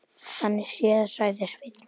Þannig séð, sagði Sveinn.